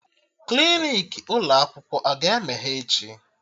Klinik ụlọ akwụkwọ aga emeghe echi?